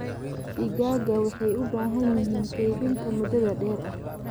Digaaga waxay u baahan yihiin kaydinta mudaa dheer aah.